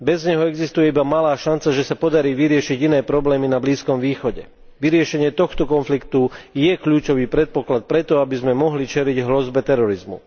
Bez neho existuje iba malá šanca, že sa podarí vyriešiť iné problémy na Blízkom východe. Vyriešenie tohto konfliktu je kľúčový predpoklad pre to, aby sme mohli čeliť hrozbe terorizmu.